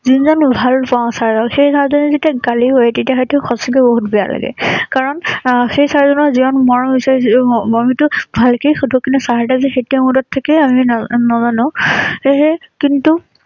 আমি জানো ভাল পাওঁ চাৰ ক সেই চাৰ জনে যেতিয়া গালি পাৰে তেতিয়া হয়তো সঁচাকৈ বহুত বেয়া লাগে। কাৰণ এ সেই চাৰ জনৰ যিমান মৰম বিচাৰিছিলো সেই মৰমটো ভালকৈ শুধু কিন্তু চাৰ সেইটো mood ত থাকে আমি ন নাজানো। সেইহে কিন্তু